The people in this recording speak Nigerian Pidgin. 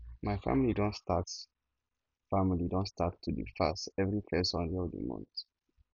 my family don start family don start to dey fast every first sunday of the month